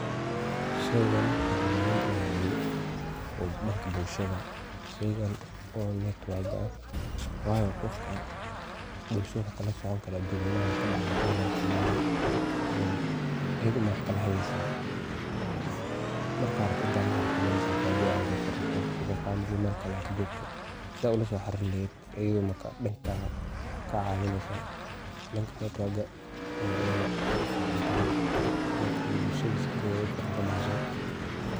Sheeygan waxu muhim u yahay danga bulshada sheeygan wa network wakan, wayo Qoofka bulshada ayu kukla soconi karah aduun weeynaha, wax kadacaya calamka oo dhan eyada ama wax kala hageeysah marka rabatah Ina la xarirtoh oo meel Kali kajoktoh setha ula so xaririn aheet dankas Aya kacaweeneysah, dabka network ka ee Aya uficantahay danga bulshada wa u ficantahay.